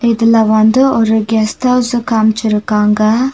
இதுல வந்து ஒரு கெஸ்ட் ஹவுஸ்ஸ காம்ச்சிருக்காங்க.